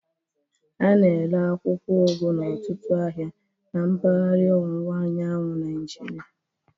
A na-ere akwụkwọ ugu n'ọtụtụ ahịa na mpaghara ọwụwa anyanwụ Nigeria